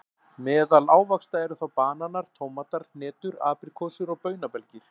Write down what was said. Meðal ávaxta eru þá bananar, tómatar, hnetur, apríkósur og baunabelgir.